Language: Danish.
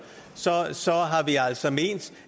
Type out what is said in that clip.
har vi altså ment